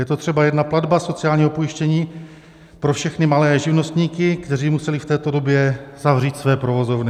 Je to třeba jedna platba sociálního pojištění pro všechny malé živnostníky, kteří museli v této době zavřít své provozovny.